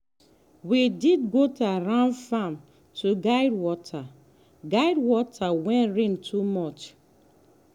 we dig gutter round farm to guide water guide water when rain too much.